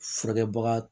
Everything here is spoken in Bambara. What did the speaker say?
Furakɛbaga